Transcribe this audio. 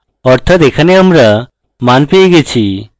অর্থাৎ এখানে আমরা সকল মান পেয়ে গেছি